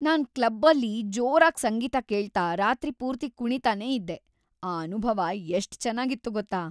ನಾನ್ ಕ್ಲಬ್ಬಲ್ಲಿ ಜೋರಾಗ್ ಸಂಗೀತ ಕೇಳ್ತಾ ರಾತ್ರಿ ಪೂರ್ತಿ ಕುಣೀತಾನೇ ಇದ್ದೆ. ಆ ಅನುಭವ ಎಷ್ಟ್‌ ಚೆನ್ನಾಗಿತ್ತು ಗೊತ್ತಾ!